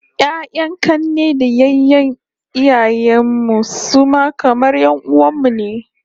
Ya'yan 'kanne da yayyen iyayen mu su ma kamar 'yan'uwan mu ne